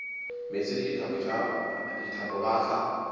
meetse le dithapo ba tla